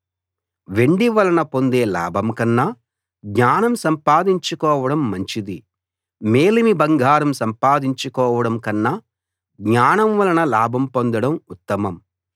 వెండి వలన పొందే లాభం కన్నా జ్ఞానం సంపాదించుకోవడం మంచిది మేలిమి బంగారం సంపాదించుకోవడం కన్నా జ్ఞానం వలన లాభం పొందడం ఉత్తమం